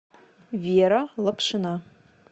вера лапшина